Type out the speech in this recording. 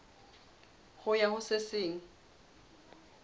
ho ya ho se seng